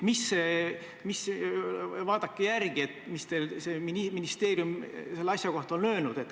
Palun vaadake järele, mis ministeerium selle asja kohta on öelnud.